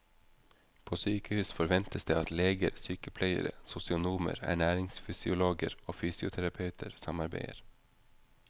På sykehus forventes det at leger, sykepleiere, sosionomer, ernæringsfysiologer og fysioterapeuter samarbeider.